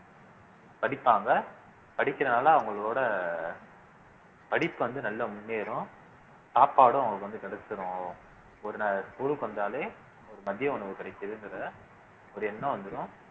படிப்பாங்க படிக்கிறதுனால அவங்களோட படிப்பு வந்து நல்லா முன்னேறும் சாப்பாடும் அவங்களுக்கு வந்து கிடைச்சுரும் ஒரு நேரம் school க்கு வந்தாலே ஒரு மதிய உணவு கிடைக்குதுன்றதை ஒரு எண்ணம் வந்துரும்